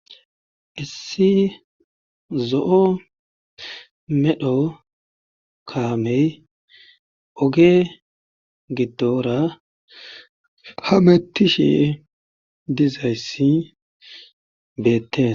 issi zo7o medho kaamey oge giddora hamettishe dizayssi beettes